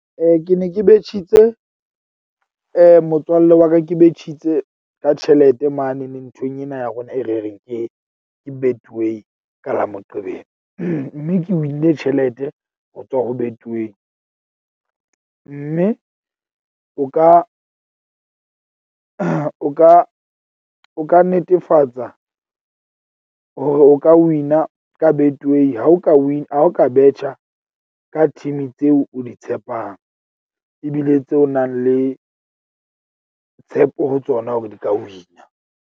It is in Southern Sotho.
Ke ne ke betjhitse motswalle wa ka ke betjhitse ka tjhelete mane ne nthong ena ya rona, e re reng ke ke Betway ka la Moqebelo. Mme ke win-ne tjhelete ho tswa ho Betway. Mme o ka o ka o ka netefatsa hore o ka win-a ka Betway ha o ka ha o ka betjha ka team-i tseo o di tshepang. Ebile tseo o nang le tshepo ho tsona hore di ka win-a.